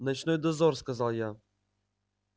ночной дозор сказал я